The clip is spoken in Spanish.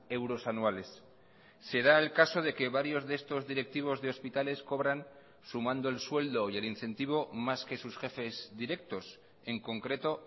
euros anuales se da el caso de que varios de estos directivos de hospitales cobran sumando el sueldo y el incentivo más que sus jefes directos en concreto